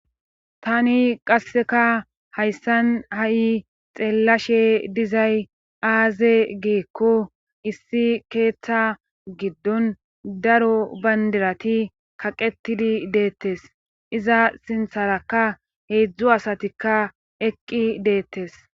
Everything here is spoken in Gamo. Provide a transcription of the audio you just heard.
tani qasseka hayssan ha7i xeellashe dizay aaze geekko issi keeththa giddon daro bandirati kaqetidi deettes iza sintharakka heedzdzu asatikka eqqi deettes